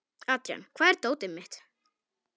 Adrian, hvar er dótið mitt?